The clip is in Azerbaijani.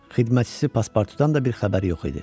Xidmətçisi Paspartudan da bir xəbər yox idi.